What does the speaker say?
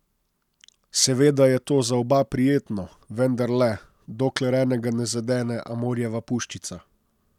Seveda je to za oba prijetno, vendar le, dokler enega ne zadene Amorjeva puščica.